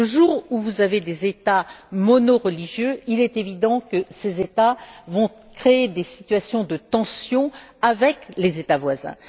Le jour où vous avez des États monoreligieux, il est évident que ces États vont créer des situations de tension avec les États voisins.